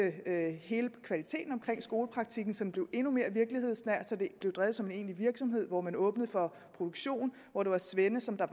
hele kvaliteten af skolepraktikken så den blev endnu mere virkelighedsnær så det blev drevet som en egentlig virksomhed hvor man åbnede for produktion hvor det var svende som var